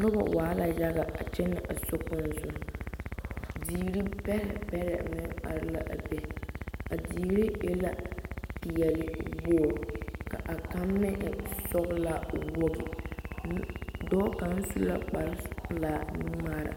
Noba waa la yaga a kyɛnɛ a sokpoŋ zuŋ, diiri bɛrɛbɛrɛ meŋ are la a be a diiri e la peɛle wogiri ka a kaŋ meŋ e sɔgelaa wogi dɔɔ kaŋa su la kpare pelaa nu-ŋmaara